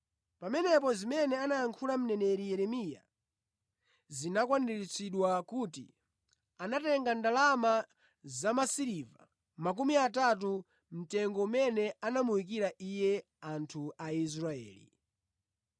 Pamenepo zimene anayankhula mneneri Yeremiya zinakwaniritsidwa kuti, “Anatenga ndalama zamasiliva makumi atatu mtengo umene anamuyikira Iye anthu a Israeli.